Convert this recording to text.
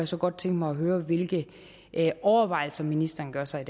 så godt tænke mig at høre hvilke overvejelser ministeren gør sig